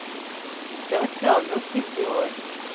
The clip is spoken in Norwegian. Det har vært travle og trivelige år.